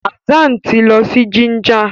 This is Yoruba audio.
Hassan tí lọ si Jinja.